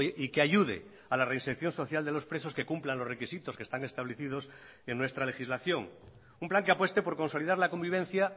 y que ayude a la reinserción social de los presos que cumplan los requisitos que están establecidos en nuestra legislación un plan que apueste por consolidar la convivencia